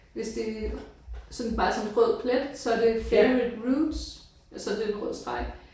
Hvis det sådan bare er sådan en rød plet så er det favorite roots. Så er det en rød streg